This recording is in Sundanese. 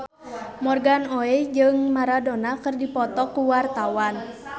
Morgan Oey jeung Maradona keur dipoto ku wartawan